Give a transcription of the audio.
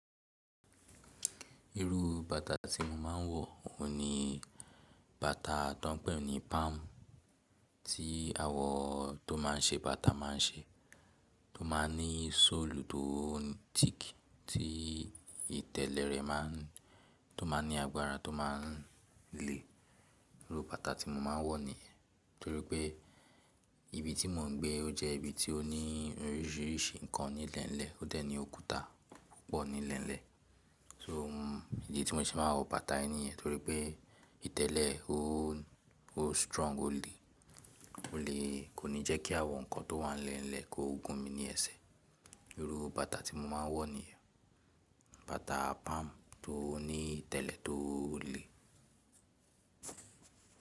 Irú bàtà tí mo máà ń wọ̀ òun ni bàtà tó pẹ̀ ní palm tí awọ̀n tó máa ń ṣe bàtà máa ń ṣe, tó máa ní sọ́ọ̀lù tó thick tí ìtẹ̀lẹ̀ rẹ̀ máa ń tó máa ní agbára tó máa ń le. Irú bàtà tí mo máa ń wọ̀ ní, torí pé ibi tí mò ń gbé ó jẹ́ ibi tí ó ní oríṣìíríṣìí ǹkan ní lẹ́ńlẹ̀ ó dẹ̀ ní òkúta pọ̀ ní lẹ́ńlẹ̀. So ìdí tí mo ti máa ń wọ bàtà ẹni ni torí pé ìtẹ̀lẹ̀ ẹ ó ó strong ó le kò ní jẹ́ kí awọ̀n ǹkan tó wà nílẹ̀ kó gun mi ní ẹsẹ̀. Irú bàtà tí mo máa ń wọ̀ ní, bàtà palm tó ní ìtẹ̀lẹ̀ tó le.